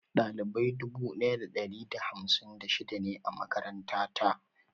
Ɗalibai dubu daya da ɗari da hamsin da shida ne a makaranta ta.